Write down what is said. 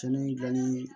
Cɛnni dilanli